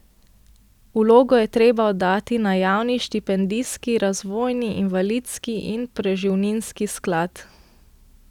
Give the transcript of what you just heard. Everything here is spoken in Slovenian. Vlogo je treba oddati na Javni štipendijski, razvojni, invalidski in preživninski sklad.